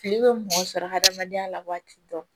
Kile bɛ mɔgɔ sɔrɔ hadamadenya la waati dɔ